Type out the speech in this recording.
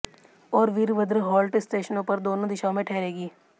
और वीरभद्र हॉल्ट स्टेशनों पर दोनों दिशाओं में ठहरेगी